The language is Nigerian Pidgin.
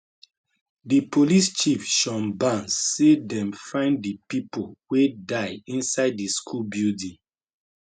di police chief shon barnes say dem find di pipo wey die inside di school building